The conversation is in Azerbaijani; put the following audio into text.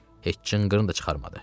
Heç cınqırın da çıxarmadı.